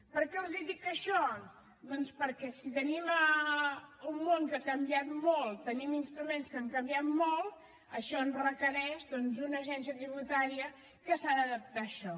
per què els dic això doncs perquè si tenim un món que ha canviat molt tenim instruments que han canviat molt això ens requereix doncs una agència tributària que s’ha d’adaptar a això